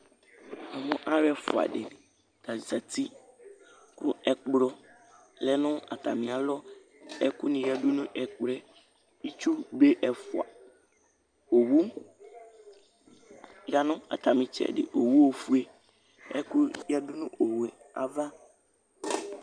na mo alo ɛfua di ta zati kò ɛkplɔ lɛ no atami alɔ ɛkò ni ya du no ɛkplɔ yɛ itsu be ɛfua owu ya no atami itsɛdi owu ofue ɛkò ya du no owu yɛ ava